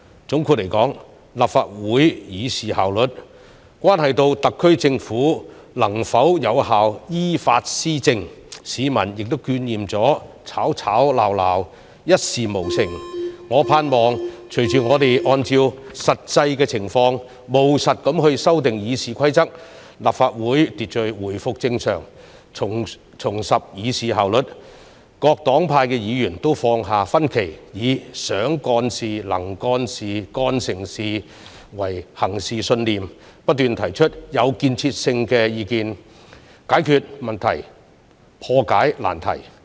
總括而言，立法會議事效率關係到特區政府能否有效依法施政，市民亦厭倦議會吵吵鬧鬧，一事無成，我盼望隨着我們按照實際情況務實地修訂《議事規則》，立法會秩序回復正常，重拾議事效率，各黨派議員都放下分歧，以"想幹事、能幹事、幹成事"為行事信念，不斷提出具建設性的意見，解決問題、破解難題。